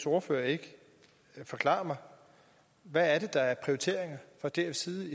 ordfører ikke forklare mig hvad det er der er prioriteringer fra dfs side